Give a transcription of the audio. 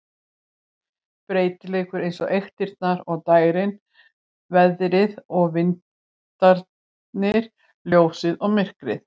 Breytilegur eins og eyktirnar og dægrin, veðrið og vindarnir, ljósið og myrkrið.